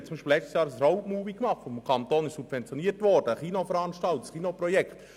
Letztes Jahr machten wir beispielsweise ein Roadmovie, welches vom Kanton Bern subventioniert wurde, ein Kinoprojekt.